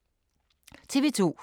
TV 2